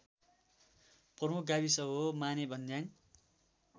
प्रमुख गाविस हो मानेभन्ज्याङ